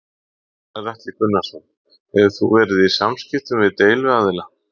Gunnar Atli Gunnarsson: Hefur þú verið í samskiptum við deiluaðila?